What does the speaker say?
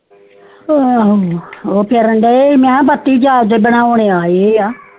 ਊ ਕੇਹਨ ਡਾਏ ਸੀ ਬੱਤੀ ਅੱਜ ਬਣਾਉਣ ਆਏ ਆ